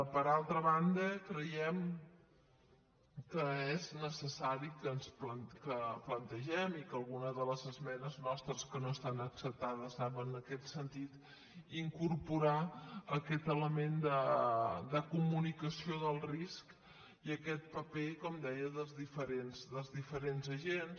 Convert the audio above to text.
per altra banda creiem que és necessari que plante·gem i algunes de les esmenes nostres que no estan acceptades anaven en aquest sentit incorporar aquest element de comunicació del risc i aquest paper com deia dels diferents agents